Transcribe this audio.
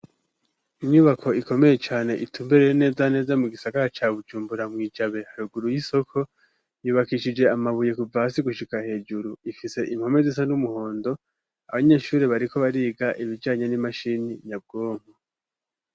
Inyubako ikomeye cane itumberere neza neza mu gisakara ca bujumbura mwijabe haruguru y'isoko .Yubakishije amabuye kuv hasi gushika hejuru ifise impome zisa n'umuhondo abanyeshuri bariko bariga ibijanye n'imashini nyabwonko.